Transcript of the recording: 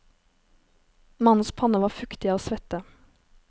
Mannens panne var fuktig av svette.